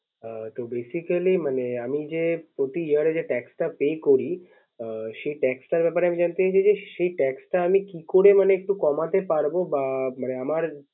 ও তো Basically মানে আমি যে প্রতি Year যে Tax টা Pay করি। সে Tax টার ব্যাপারে আমি জানতে চাইছি যে, সে Tax টা আমি কি করে মানে একটু কমাতে পারব বা আমার